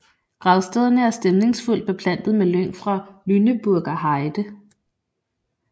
Gravstederne er stemningsfuldt beplantet med lyng fra Lüneburger Heide